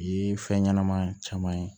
Ye fɛn ɲɛnɛma caman ye